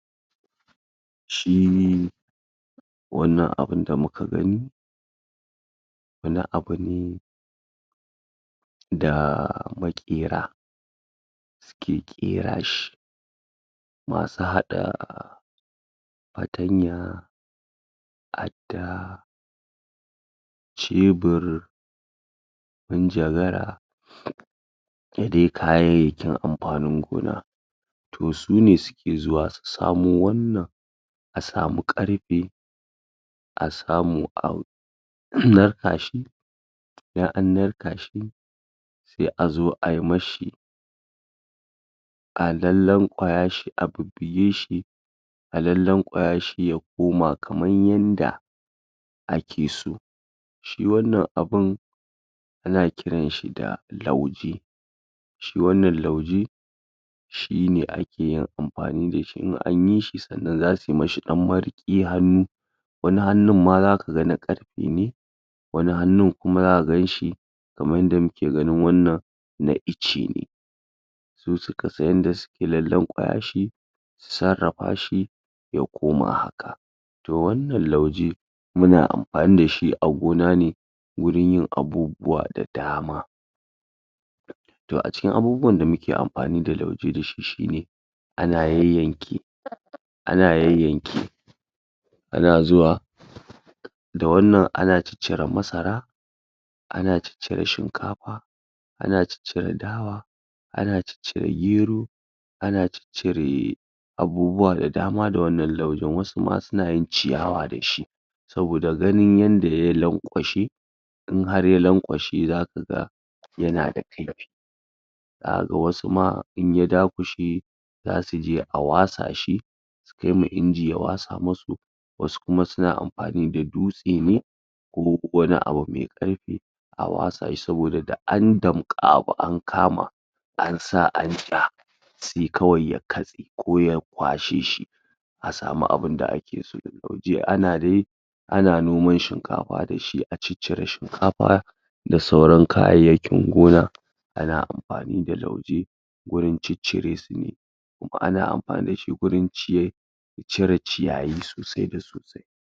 shiiii wannan abun da muka gani wani abu ne daaaa makera da suke kera shi masu hada fatanya adda cebir mun ja gara da dai kayayykin amfanin gona to su ne su ke zuwa su samo wannan a samu karfe a samu a narka shi in an narka shi sai a zo ay mashi a lanlan kwaya shi a bubbuge shi a lanlan kwaya shi ya koma kaman yadda ake so shi wannan abun ana kiran shi da lauje shi wannan lauje shi ne ake amfani da shi, in anyi shi sannan za su mashi dan mariki na hannu wani hannun ma za kaga na karfe ne wani hannun kuma za ka shi kamar yadda muke ganin wannan na icce ne su suka san yadda suke lanlankwaya shi su sassarrafa shi ya koma haka to wannan lauje muna amfani da shi a gona ne wurin yin abubuwa da dama to a cikin abubuwan da muke amani da lauje shi ne ana yanyanke ana yanyanke ana zua da wannan ana ciccire masara ana ciccire shinkafa ana ciccire dawa ana ciccire gero ana ciccire a bubuwa da dama da wannan laujan wasu ma suna yin ciyawa da shi sabida ganin yadda ya lankwashe in har ya lankwashe za ka ga yana da filf za kaga wasu ma in ya dakushe za su iya a wasa shi su kaiwa inji ya wasa musu wasu kuma suna amfani da dutse ne ko wani abu mai karfi a wasa shi saboda da an damka wani abu an kama ansa a rika sai kawai ya katse ko ya kwashe shi a samu abin da ake so, ana dai ana noman shinkafa da shi, a ciccire shinkafa da sauran kayayyakin gona ana amfani da lauje wajan ciccire su ne kuma ana amfani da shi wurin cire wurin cire ciyayi sosai da sosai